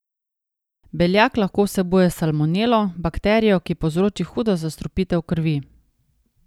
Beljak lahko vsebuje salmonelo, bakterijo, ki povzroči hudo zastrupitev krvi.